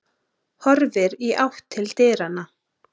Horfir í átt til dyranna.